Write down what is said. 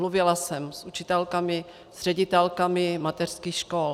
Mluvila jsem s učitelkami, s ředitelkami mateřských škol.